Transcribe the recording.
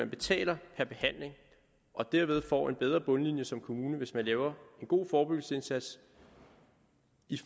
betaler per behandling og derved får en bedre bundlinje som kommune hvis man laver en god forebyggelsesindsats